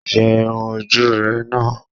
Yẹ irun ojú ú rẹ̀ ná!